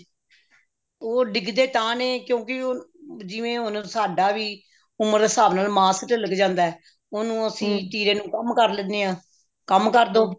ਉਹ ਡਿੱਗਦੇ ਤਾਂ ਨੇ ਕਿਉਂਕਿ ਉਹ ਜਿਵੇਂ ਹੁਣ ਸਾਡਾ ਵੀ ਉਮਰ ਦੇ ਹਿਸਾਬ ਨਾਲ ਮਾਸ ਤਿਲਕ ਜਾਂਦਾ ਉਹਨੂੰ ਅਸੀਂ ਤਿਰੇ ਨੂੰ ਅਸੀਂ ਕਮ ਕਰ ਲੈਂਦੇ ਹਾਂ ਕਮ ਕਰਦੋ